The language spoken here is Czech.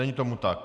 Není tomu tak.